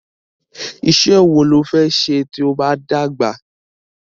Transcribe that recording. Isẹ́ wo lo fẹ́ se tí o bá dàgbà?